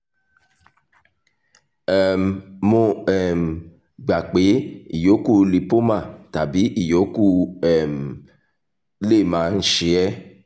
um mo um gbà pé ìyókù lipoma tàbí ìyókù um lè máa ń ṣe ẹ́